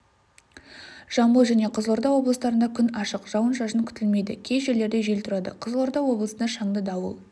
жамбыл және қызылорда облыстарында күн ашық жауын-шашын күтілмейді кей жерлерде жел тұрады қызылорда облысында шаңды дауыл